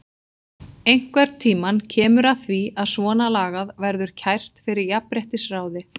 Einhvern tímann kemur að því að svona lagað verður kært fyrir jafnréttisráði.